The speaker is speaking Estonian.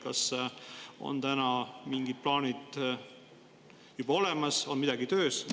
Kas on mingid plaanid juba olemas, on midagi töös?